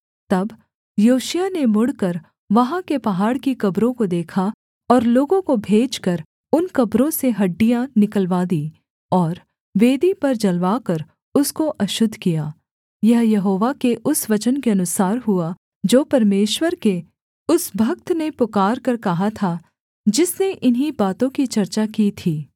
तब योशिय्याह ने मुड़कर वहाँ के पहाड़ की कब्रों को देखा और लोगों को भेजकर उन कब्रों से हड्डियाँ निकलवा दीं और वेदी पर जलवाकर उसको अशुद्ध किया यह यहोवा के उस वचन के अनुसार हुआ जो परमेश्वर के उस भक्त ने पुकारकर कहा था जिसने इन्हीं बातों की चर्चा की थी